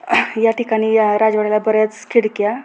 या ठिकाणी या राजवड्याला बऱ्याच खिडक्या --